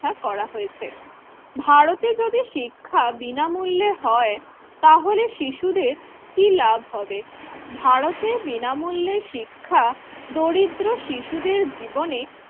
স্থা করা হয়েছে। ভারতে যদি শিক্ষা বিনামূল্য হয় তাহলে শিশুদের কি লাভ হবে? ভারতে বিনামূল্যে শিক্ষা দরিদ্র শিশুদের জীবনে